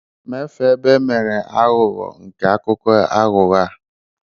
mafee ebe emere aghụghọ nke akụkọ aghụghọ a